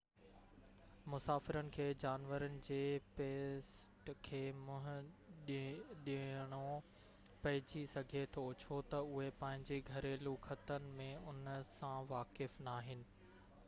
مسافرن کي جانورن جي پيسٽ کي منهن ڏيڻو پئجي سگهي ٿو ڇو تہ اهي پنهنجي گهريلو خطن ۾ ان سان واقف ناهن